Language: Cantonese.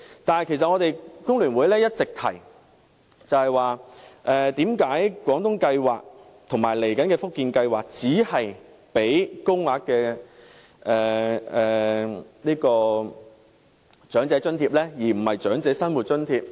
但其實工聯會一直也質疑為何廣東計劃和接下來的福建計劃只提供高齡津貼，而非較高額的長者生活津貼呢？